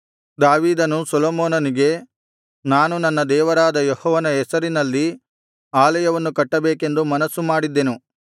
ದಾವೀದನು ಸೊಲೊಮೋನನಿಗೆ ನಾನು ನನ್ನ ದೇವರಾದ ಯೆಹೋವನ ಹೆಸರಿಗೋಸ್ಕರ ಅಲಯವನ್ನು ಕಟ್ಟಬೇಕೆಂದು ಮನಸ್ಸು ಮಾಡಿದ್ದೆನು